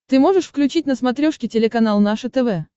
ты можешь включить на смотрешке телеканал наше тв